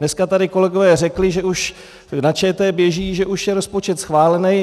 Dneska tady kolegové řekli, že už na ČT běží, že už je rozpočet schválen.